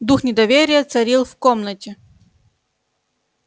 дух недоверия царил в комнате